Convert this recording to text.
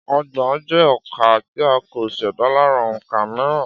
Ọgbọ̀n jẹ́ òǹkà tí a kò ṣẹ̀dá lára òǹkà mìíràn